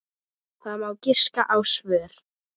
Það má giska á svör.